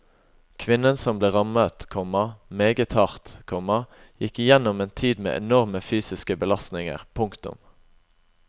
Kvinnen som ble rammet, komma meget hardt, komma gikk igjennom en tid med enorme fysiske belastninger. punktum